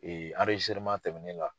tɛmɛni la.